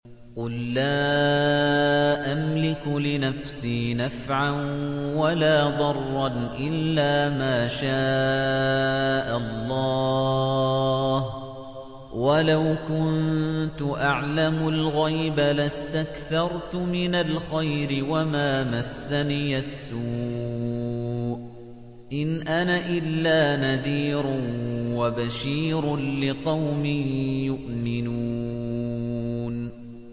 قُل لَّا أَمْلِكُ لِنَفْسِي نَفْعًا وَلَا ضَرًّا إِلَّا مَا شَاءَ اللَّهُ ۚ وَلَوْ كُنتُ أَعْلَمُ الْغَيْبَ لَاسْتَكْثَرْتُ مِنَ الْخَيْرِ وَمَا مَسَّنِيَ السُّوءُ ۚ إِنْ أَنَا إِلَّا نَذِيرٌ وَبَشِيرٌ لِّقَوْمٍ يُؤْمِنُونَ